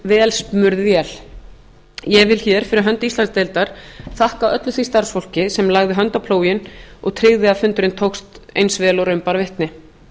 vel smurð vél ég vil hér fyrir hönd íslandsdeildar þakka öllu því starfsfólki sem lagði hönd á plóginn og tryggði að fundurinn tókst eins vel og raun bar vitni